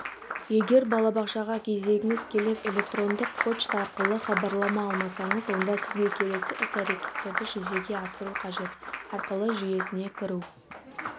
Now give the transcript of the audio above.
егер балабақшаға кезегіңіз келіп электрондық пошта арқылы хабарлама алмасаңыз онда сізге келесі іс-әрекеттерді жүзеге асыру қажет арқылы жүйесіне кіру